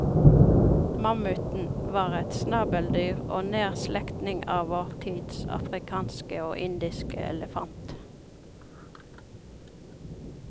Mammuten var et snabeldyr og nær slektning av vår tids afrikanske og indiske elefant.